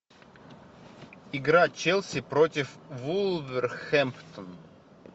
игра челси против вулверхэмптон